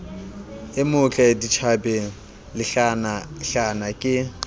e motle ditjhabeng lehlanahlana ke